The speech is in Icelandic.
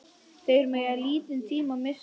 Þeir mega lítinn tíma missa.